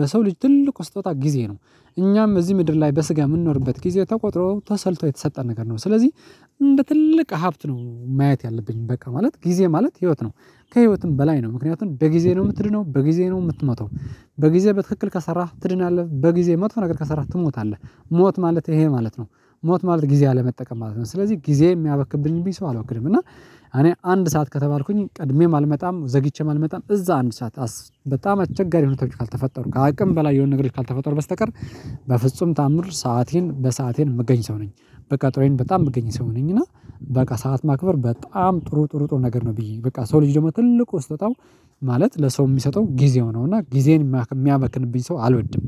በሰው ልጅ ትልቁ ስጦታ ጊዜ ነው። እኛም እዚህ ምድር ላይ በስጋ የምንኖርበት ጊዜ ተቆጥሮ ተሰልቶ የተሰጠ ነገር ነው። ስለዚህ እንደ ትልቅ ሀብት ነው ማየት ያለብኝ በቃ ማለት ጊዜ ማለት ህይወት ነው። ከህይወትም በላይ ነው ምክንያቱም በጊዜ ነው የምትድነው በጊዜ ነው የምትሞተው። በጊዜ በትክክል ከሰራህ ትድናለህ በጊዜ መጥፎ ነገር ከሰራህ ትሞታለህ። ሞት ማለት ይሄ ማለት ነው። ሞት ማለት ጊዜ አለመጠቀም ማለት ነው። ስለዚህ ጊዜ የሚያበክንብኝ ሰው አላውቅም። እና እኔ አንድ ሰዓት ከተባልኩኝ ቅድሜም አልመጣም ዘግይቼ አልመጣም እዛ አንድ ሰዓት በጣም አቸጋሪ ሆኖ ካልተፈጠሩ ከአቅም በላይ የሆነ ነገሮች ካልተፈጠሩ በስተቀር። በፍጹም ተአምር ሰአቴን በሰአቴን የምገኝ ሰው ነኝ። በቀጠሮዬ በጣም የምገኝ ሰው ነኝና። በቃ ሰዓት ማክበር በጣም ጥሩ ጥሩ ጥሩ ነገር ነው ብዬ በቃ ሰው ልጅ ደግሞ ትልቁ ስጦታው። ማለት ለሰው የሚሰጠው ጊዜ ነው እና ጊዜን የሚያበክንብኝ ሰው አልወድም።